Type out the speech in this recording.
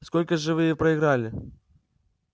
сколько же вы проиграли